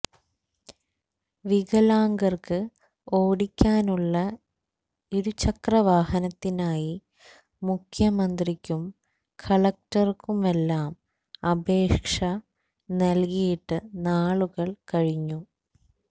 വികലാംഗർക്ക് ഓടിക്കാനുള്ള ഇരുചക്രവാഹനത്തിനായി മുഖ്യമന്ത്രിക്കും കളക്ടർക്കുമെല്ലാം അപേക്ഷ നൽകിയിട്ട് നാളുകൾ കഴിഞ്ഞു